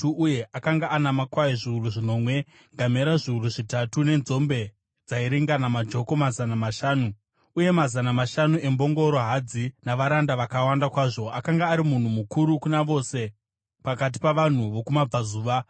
uye akanga ana makwai zviuru zvinomwe, ngamera zviuru zvitatu, nenzombe dzairingana majoko mazana mashanu, uye mazana mashanu embongoro hadzi, navaranda vakawanda kwazvo. Akanga ari munhu mukuru kuna vose pakati pavanhu vokumabvazuva.